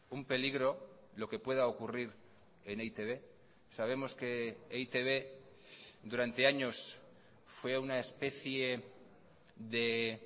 un peligro lo que pueda ocurrir en e i te be sabemos que e i te be durante años fue una especie de